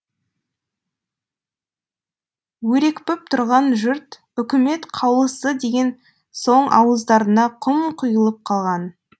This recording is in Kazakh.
өрекпіп тұрған жұрт үкімет қаулысы деген соң ауыздарына құм құйылып қалған